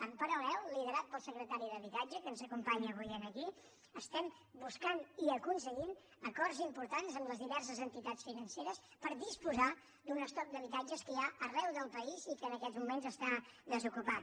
en paral·lel liderat pel secretari d’habitatge que ens acompanya avui aquí estem buscant i aconseguint acords importants amb les diverses entitats financeres per disposar d’un estoc d’habitatges que hi ha arreu del país i que en aquests moments està desocupat